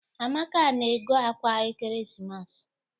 Amaka na-ego akwa ekeresimesi.